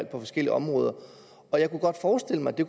på forskellige områder og jeg kunne godt forestille mig at det